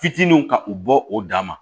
Fitininw ka u bɔ o dama